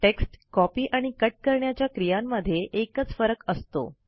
text copy आणि cut करण्याच्या क्रियांमध्ये एकच फरक असतो